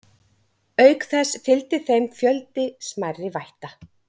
Auk þess fylgdi þeim fjöldi smærri vætta.